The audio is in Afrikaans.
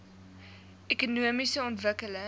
ekonomiese ontwikkeling